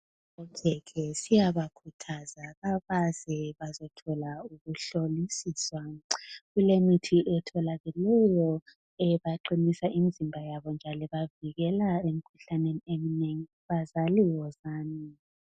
Okhekhe siyabakhuthaza abeze bazothola ukuhlolisiswa, kulemithi etholakeleyo ebaqinisa imzimba yabo njalo ibavikela emkhuhlaneni eminengi, bazali wozani.